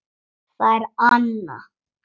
Það er Anna.